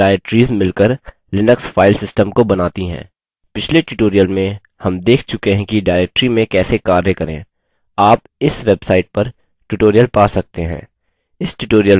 पिछले tutorial में हम देख चुके हैं कि directories में कैसे कार्य करें आप इस website पर tutorial पा सकते हैं